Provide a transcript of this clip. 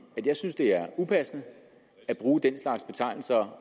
at jeg synes det er upassende at bruge den slags betegnelser